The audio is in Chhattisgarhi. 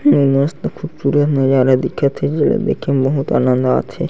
मस्त खूबसूरत नजारा दिखत हे जेला देखें म बहुत आनंद आत हे।